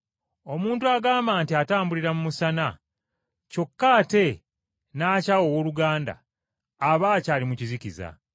Omuntu agamba nti atambulira mu musana, kyokka ate n’akyawa owooluganda, aba akyali mu kizikiza.